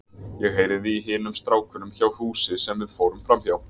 Ég heyrði í hinum strákunum hjá húsi sem við fórum framhjá.